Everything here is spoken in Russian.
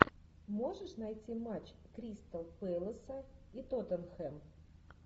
можешь найти матч кристал пэласа и тоттенхэм